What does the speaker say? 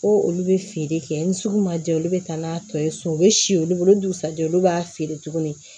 Ko olu bɛ feere kɛ ni sugu ma ja olu bɛ taa n'a tɔ ye so u bɛ si olu bolo o dugusajɛ olu b'a feere tuguni